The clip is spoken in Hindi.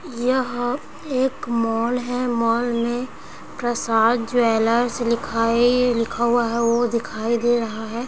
यहाँ एक मॉल है मॉल में प्रसाद ज्वैलर्स लिखा है ये लिखा हुआ है वो दिखाई दे रहा है।